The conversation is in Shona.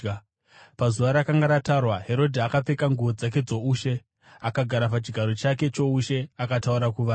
Pazuva rakanga ratarwa, Herodhi akapfeka nguo dzake dzoushe, akagara pachigaro chake choushe akataura kuvanhu.